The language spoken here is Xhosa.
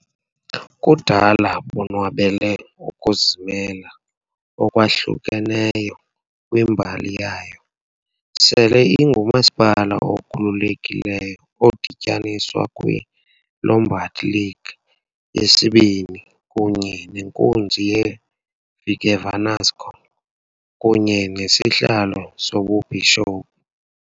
Kudala bonwabele ukuzimela okwahlukeneyo kwimbali yayo, sele ingumasipala okhululekileyo odityaniswa kwi -Lombard League yesibini kunye nenkunzi yeVigevanasco, kunye nesihlalo sobubhishophu .